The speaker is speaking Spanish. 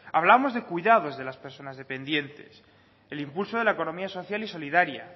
hablamos de cuidados de las personas dependientes el impulso de la economía social y solidaria